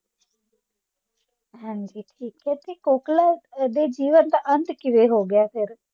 ਹਾਂਜੀ ਠੀਕ ਹੈ ਤੇ ਕੋਕਲਾ ਦੇ ਜੀਵਨ ਦਾ ਅੰਤ ਕਿਵੇਂ ਹੋ ਗਿਆ ਫਿਰ?